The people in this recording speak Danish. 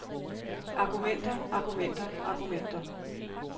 argumenter argumenter argumenter